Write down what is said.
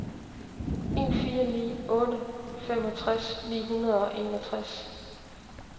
en fire ni otte femogtres ni hundrede og enogtres